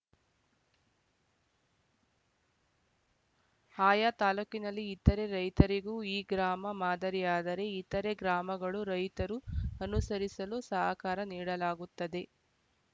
ಆಯಾ ತಾಲೂಕಿನಲ್ಲಿ ಇತರೆ ರೈತರಿಗೂ ಈ ಗ್ರಾಮ ಮಾದರಿಯಾದರೆ ಇತರೆ ಗ್ರಾಮಗಳು ರೈತರೂ ಅನುಸರಿಸಲು ಸಹಕಾರ ನೀಡಲಾಗುತ್ತದೆ